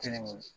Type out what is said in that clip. Kelen